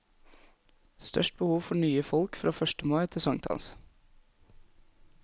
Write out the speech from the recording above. Størst behov for nye folk fra første mai til sankthans.